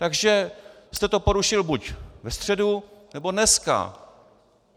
Takže jste to porušil buď ve středu, nebo dneska.